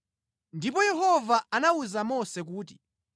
Ndipo Yehova anawuza Mose kuti,